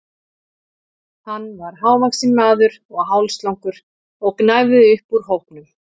Hann var hávaxinn maður og hálslangur og gnæfði upp úr hópnum.